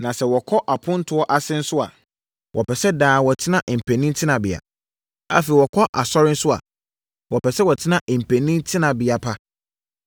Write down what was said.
Na sɛ wɔkɔ apontoɔ ase nso a, wɔpɛ sɛ daa wɔtena mpanin tenabea. Afei, wɔkɔ asɔre nso a, wɔpɛ sɛ wɔtena mpanin tenabea pa.